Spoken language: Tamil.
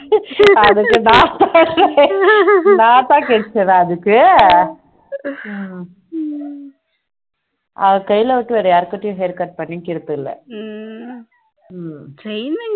நான் தான் கிடைச்சேனா அதுக்கு அவர் கைய தவிர வேற யார்கிட்டயும் hair cut பண்ணுகிறது இல்ல